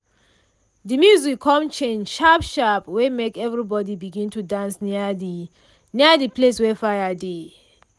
de music con change sharp sharp wey make everybody begin to dance near de near de place wey fire dey.